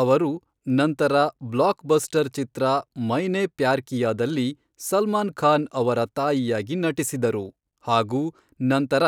ಅವರು ನಂತರ ಬ್ಲಾಕ್ಬಸ್ಟರ್ ಚಿತ್ರ ಮೈನೆ ಪ್ಯಾರ್ ಕಿಯಾದಲ್ಲಿ ಸಲ್ಮಾನ್ ಖಾನ್ ಅವರ ತಾಯಿಯಾಗಿ ನಟಿಸಿದರು ಹಾಗು ನಂತರ